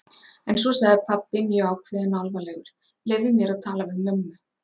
En svo sagði pabbi mjög ákveðinn og alvarlegur: Leyfðu mér að tala við mömmu?